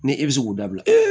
Ni e bɛ se k'o dabila